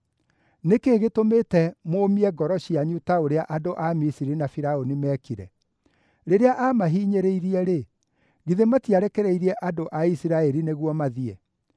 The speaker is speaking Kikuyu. Nĩ kĩĩ gĩtũmĩte mũmie ngoro cianyu ta ũrĩa andũ a Misiri na Firaũni meekire? Rĩrĩa aamahinyĩrĩirie-rĩ, githĩ matiarekereirie andũ a Isiraeli nĩguo mathiĩ?